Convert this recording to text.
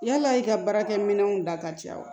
Yala i ka baarakɛminɛnw da ka ca wa